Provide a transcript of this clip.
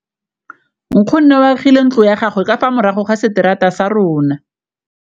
Nkgonne o agile ntlo ya gagwe ka fa morago ga seterata sa rona.